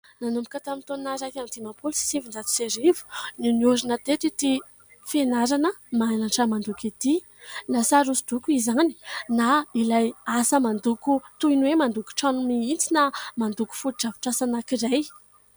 Nanomboka tamin'ny taona iraika amin'ny diman-polo sy sivin-jato sy arivo no nahorina teto ity fianarana mianatra mandoko ity. Na sary hosodoko izany na ilay asa mandoko toy ny hoe mandoko trano mihitsy na mandoko foto-drafitr'asa anankiray.